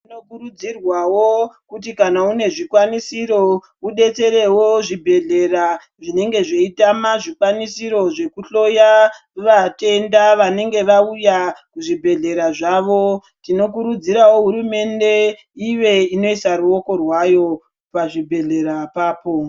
Tinokurudzirwawo kuti kana une zvikwanisiro udetserewo zvibhedhlera zvisina zvikwanisiro zvekuhloya vatenda vanenge vauya muzvibhedhlera zvawo tinokurudzirawo hurumende ive inoisa ruoko rwayo pazvibhedhlera apapo.